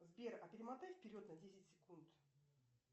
сбер а перемотай вперед на десять секунд